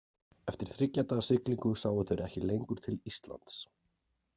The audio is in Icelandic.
Eftir þriggja daga siglingu sáu þeir ekki lengur til Íslands.